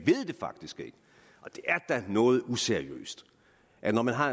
er da noget useriøst at når man har